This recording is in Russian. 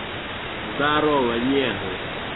здорово негры